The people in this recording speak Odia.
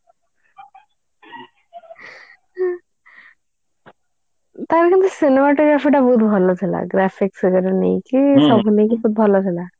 ତାର ସେଇ cinema ଟା ମୋର ସେଇଟା ବହୁତ ଭଲ ଥିଲା ସବୁ ନେଇକି ବହୁତ ଭଲ ଥିଲା